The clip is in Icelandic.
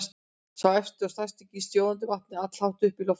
Sá efsti og stærsti gýs sjóðandi vatni allhátt upp í loftið.